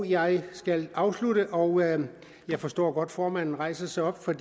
jeg skal afslutte og jeg forstår godt at formanden rejser sig op for